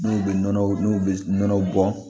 N'u bɛ nɔnɔ n'u bɛ nɔnɔw bɔn